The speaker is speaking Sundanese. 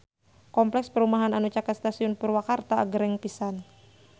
Kompleks perumahan anu caket Stasiun Purwakarta agreng pisan